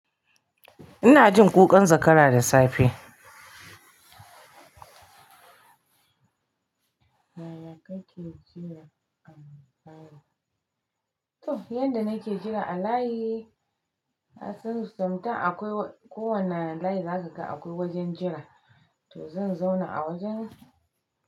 Ina jin ƙuƙan zakara da safe. Yanda nake jira a layi, asusu, sam tan akwai kowane layi za ka ga akwai wajen jira, to zan zauna a wajen.